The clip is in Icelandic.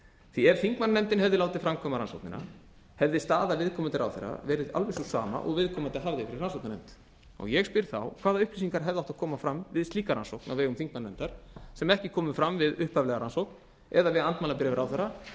því ef þingmannanefndin hefði látið framkvæma rannsóknina hefði staða viðkomandi ráðherra verið alveg sú sama og viðkomandi hafði fyrir rannsóknarnefndinni ég spyr þá hvaða upplýsingar hefðu átt að koma fram við slíka rannsókn á vegum þingmannanefndar sem ekki komu fram við upphaflega rannsókn eða við andmælabréf ráðherra